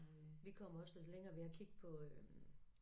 Vi kom også lidt længere ved at kigge på øh